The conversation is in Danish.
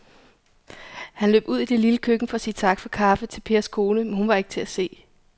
Han løb ud i det lille køkken for at sige tak for kaffe til Pers kone, men hun var ikke til at se.